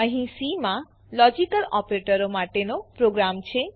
અહીં સી માં લોજીકલ ઓપરેટરો માટેનો પ્રોગ્રામ છે